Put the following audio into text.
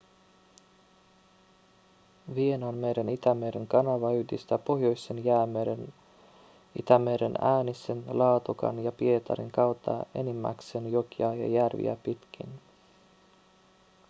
vienanmeren-itämeren kanava yhdistää pohjoisen jäämeren itämereen äänisen laatokan ja pietarin kautta enimmäkseen jokia ja järviä pitkin